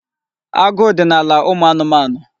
Agụụ dị n'ala ụmụ anụmanụ.